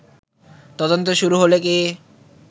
তদন্ত শুরু হলেই কি